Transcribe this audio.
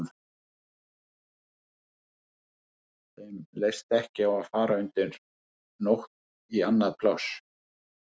Þeim leist ekki á að fara undir nótt í annað pláss.